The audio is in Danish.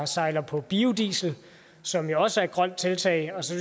sejler på biodiesel som jo også er et grønt tiltag og så